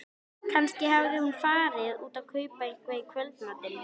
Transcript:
Kannski hafði hún farið út að kaupa eitthvað í kvöldmatinn.